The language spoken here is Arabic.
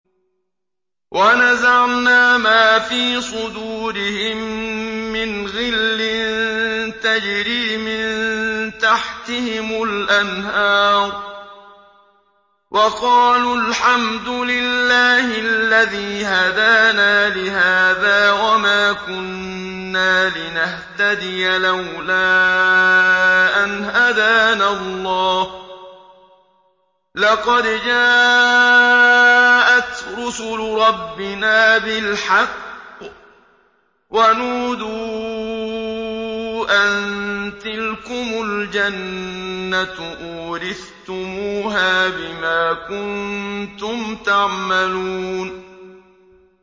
وَنَزَعْنَا مَا فِي صُدُورِهِم مِّنْ غِلٍّ تَجْرِي مِن تَحْتِهِمُ الْأَنْهَارُ ۖ وَقَالُوا الْحَمْدُ لِلَّهِ الَّذِي هَدَانَا لِهَٰذَا وَمَا كُنَّا لِنَهْتَدِيَ لَوْلَا أَنْ هَدَانَا اللَّهُ ۖ لَقَدْ جَاءَتْ رُسُلُ رَبِّنَا بِالْحَقِّ ۖ وَنُودُوا أَن تِلْكُمُ الْجَنَّةُ أُورِثْتُمُوهَا بِمَا كُنتُمْ تَعْمَلُونَ